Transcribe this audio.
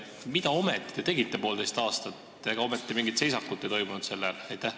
Mida te ometi tegite poolteist aastat, ega mingit seisakut ei toimunud?